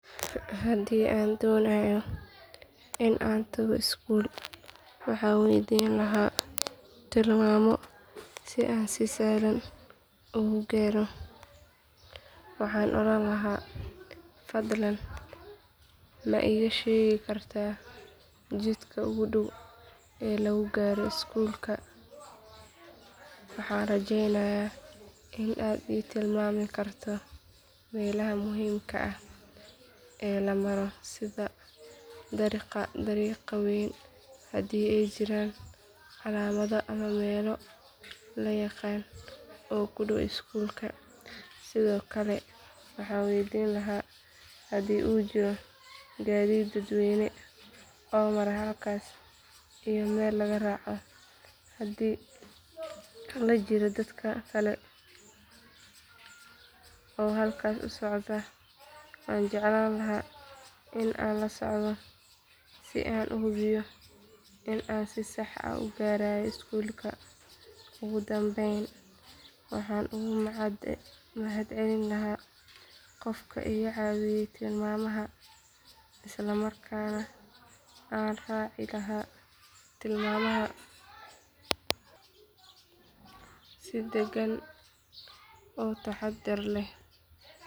Haddii aan doonayo in aan tago iskuul waxaan weydiin lahaa tilmaamo si aan si sahlan ugu gaaro waxaan oran lahaa fadlan ma iiga sheegi kartaa jidka ugu dhow ee lagu gaaro iskuulka waxaan rajeeynayaa in aad i tilmaami karto meelaha muhiimka ah ee la maro sida dariiqa weyn hadii ay jiraan calaamado ama meelo la yaqaan oo ku dhow iskuulka sidoo kale waxaan weydiin lahaa haddii uu jiro gaadiid dadweyne oo mara halkaas iyo meel laga raaco hadii la jiro dad kale oo halkaas u socda waan jeclaan lahaa in aan la socdo si aan u hubiyo in aan si sax ah u gaarayo iskuulka ugu dambeyn waxaan uga mahadcelin lahaa qofka iga caawiyay tilmaamaha isla markaana aan raaci lahaa tilmaamaha si degan oo taxaddar leh.